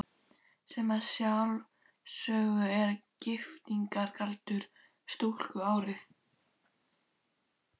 Sem að sjálfsögðu er giftingaraldur stúlku árið